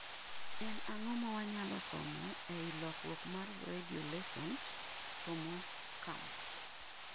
en ango mawanyalo somo ei lokruok mar radio lessons, somo camps